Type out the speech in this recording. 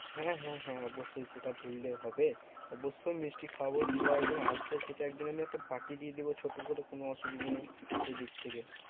হ্যাঁ হ্যাঁ হ্যাঁ অবশ্যই সেটা ভুললে হবে। অবশ্যই মিষ্টি খাওয়াবো। তোমরা একদিন আসবে সেটা আমি একদিন একটা party দিয়ে দেবো ছোট করে। কোনো অসুবিধা নেই সে দিক থেকে।